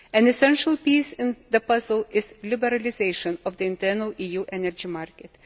An essential piece in the puzzle is the liberalisation of the internal EU energy market.